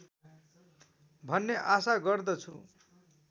भन्ने आशा गर्दछु